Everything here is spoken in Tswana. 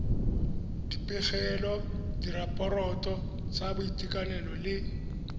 dipegelo diraporoto tsa boitekanelo le